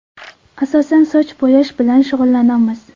Asosan soch bo‘yash bilan shug‘ullanamiz.